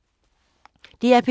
DR P2